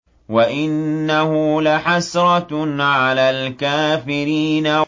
وَإِنَّهُ لَحَسْرَةٌ عَلَى الْكَافِرِينَ